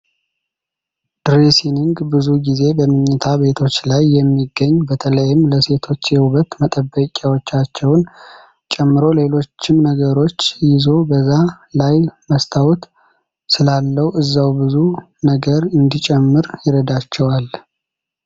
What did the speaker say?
ድሬሲንግ ብዙ ጊዜ በመኝታ ቤቶች ላይ የሚገኝ፤ በተለይም ለሴቶች የውበት መጠበቂያዎቻቸውን ጨምሮ ሌሎችንም ነገሮች ይዞ በዛ ላይ መስታወት ስላለው እዛው ብዙ ነገር እንዲጨርሱ ይረዳቸዋል።